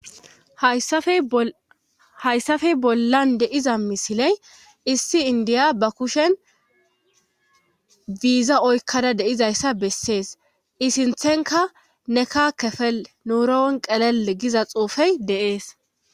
hayssafe bollan de,'iza misiley issi indiya ba kushen biiza oykkada deizayssa bessees isinthenka neka kefel nuurawen qelel giza xuufey de'ees